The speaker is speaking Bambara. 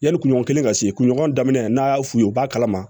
Yanni kuɲɔgɔn kelen ka se kuɲɔgɔn da n'a f'u ye u b'a kalama